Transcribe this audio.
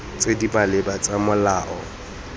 tse di maleba tsa molao